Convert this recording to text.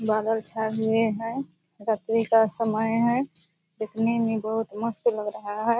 बादल छाए हुए है रात्रि का समय है देखने में बहुत मस्त लग रहा है।